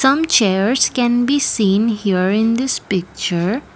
some chairs can be seen here in this picture.